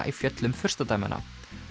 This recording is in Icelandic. í fjöllum furstadæmanna